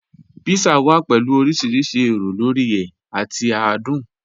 Pizza wà pẹ̀lú ọ̀rìṣìrísì èró lórí è àti àdùn.